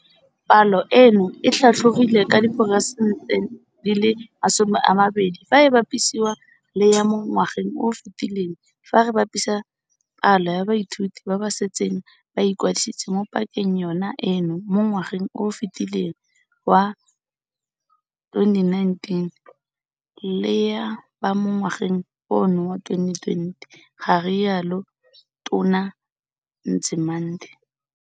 "Palo eno e tlhatlogile ka diperesente di le masome a mabedi fa e bapisiwa le ya mo ngwageng o o fetileng fa re bapisa palo ya baithuti ba ba setseng ba ikwadisitse mo pakeng yona eno mo ngwageng o o fetileng wa 2019 le ya ba mo ngwageng ono wa 2020," ga rialo Tona Nzimande.